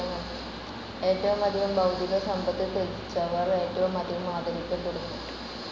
ഏറ്റവുമധികം ഭൗതികസമ്പത്ത് ത്യജിച്ചവർ ഏറ്റവുമധികം ആദരിക്കപ്പെടുന്നു.